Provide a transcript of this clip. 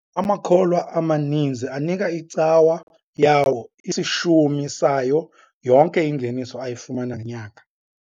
Amakholwa amaninzi anika icawa yawo isishumi sayo yonke ingeniso ayifumana ngenyanga.